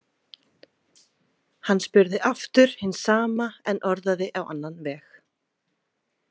Hann spurði aftur hins sama en orðaði á annan veg.